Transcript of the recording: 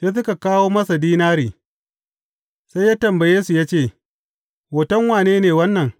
Sai suka kawo masa dinari, sai ya tambaye su ya ce, Hoton wane ne wannan?